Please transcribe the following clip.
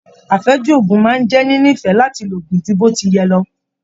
Afẹju òògùn máa n jẹ ninifẹ láti lòogun jù botiyẹ̀ lọ.